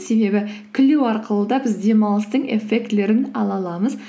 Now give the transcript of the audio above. себебі күлу арқылы да біз демалыстың эффектілерін ала аламыз